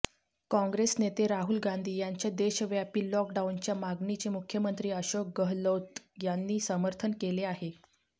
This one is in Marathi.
काँग्रेस नेते राहुल गांधी यांच्या देशव्यापी लॉकडाउनच्या मागणीचे मुख्यमंत्री अशोक गहलोत यांनी समर्थन केले आहे